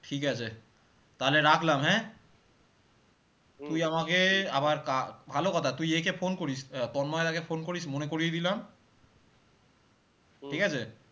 ঠিক আছে, তাহলে রাখলাম হ্যাঁ আবার কা~ ভালো কথা তুই একে phone করিস আহ তন্ময় দা কে phone করিস মনে করিয়ে দিলাম